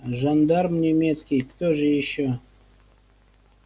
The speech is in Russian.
жандарм немецкий кто же ещё